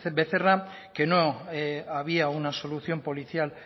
becerra que no había una solución policial